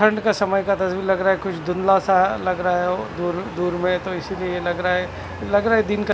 ठंड का समय का तस्वीर लग रहा है कुछ धुंधला सा लग रहे हो दूर दूर मे तो इसलिए लग रहा है लग रहा है दिन का--